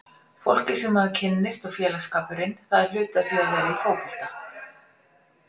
Fólkið sem maður kynnist og félagsskapurinn, það er hluti af því að vera í fótbolta.